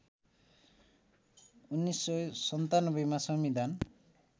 १९९७ मा संविधान